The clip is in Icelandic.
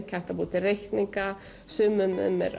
kennt að búa til reikninga sumum er